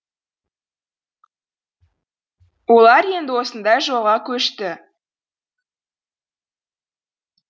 олар енді осындай жолға көшті